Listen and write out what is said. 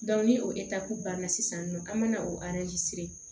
ni o banna sisan nɔ an mana o